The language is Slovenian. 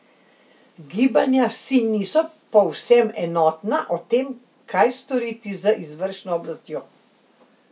Gibanja si niso povsem enotna o tem, kaj storiti z izvršno oblastjo.